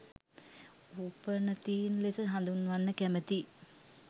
උපනතීන් ලෙස හදුන්වන්න කැමතියි.